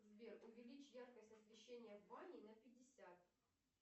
сбер увеличь яркость освещения в бане на пятьдесят